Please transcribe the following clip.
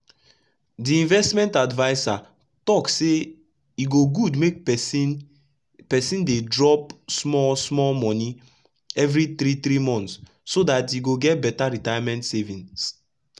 the investment adviser talk sey e go gud make persin persin dey drop small small moni everi three three months so dat e go get beta retirement savings